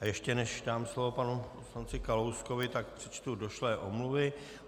A ještě než dám slovo panu poslanci Kalouskovi, tak přečtu došlé omluvy.